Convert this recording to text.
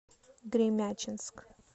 гремячинск